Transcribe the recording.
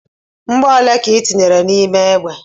Mgbọ ole ka ị tinyere n'ime egbe?